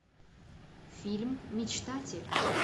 фильм мечтатель